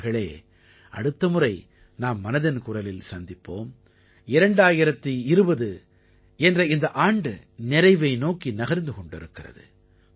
நண்பர்களே அடுத்த முறை நாம் மனதின் குரலில் சந்திப்போம் 2020 என்ற இந்த ஆண்டு நிறைவை நோக்கி நகர்ந்து கொண்டிருக்கிறது